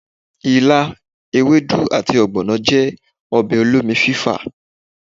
ìlá, èwédú ati ogbono jẹ ọbẹ òlómí fífá